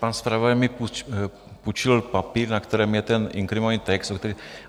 Pan zpravodaj mi půjčil papír, na kterém je ten inkriminovaný text.